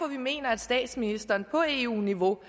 vi mener at statsministeren på eu niveau